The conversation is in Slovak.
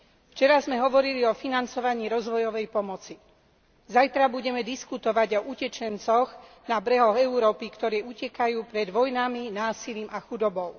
Včera sme hovorili o financovaní rozvojovej pomoci. Zajtra budeme diskutovať o utečencoch na brehoch Európy, ktorí utekajú pred vojnami, násilím a chudobou.